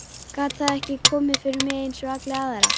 Gat það ekki komið fyrir mig einsog alla aðra?